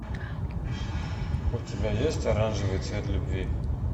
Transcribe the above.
у тебя есть оранжевый цвет любви